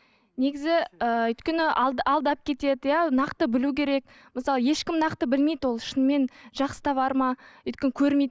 негізі ііі өйткені алдап кетеді иә нақты білу керек мысалы ешкім нақты білмейді ол шынымен жақсы товар ма өйткені көрмейді